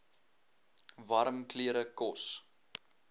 warm klere kos